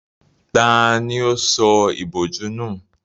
Tani ó sọ ìbòjú nù?